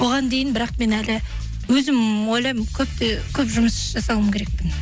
оған дейін бірақ мен әлі өзім ойлаймын көп жұмыс жасауым керекпін